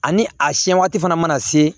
Ani a siɲɛ waati fana mana se